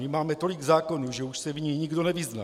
My máme tolik zákonů, že už se v nich nikdo nevyzná.